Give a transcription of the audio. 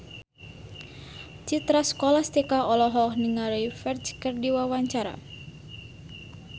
Citra Scholastika olohok ningali Ferdge keur diwawancara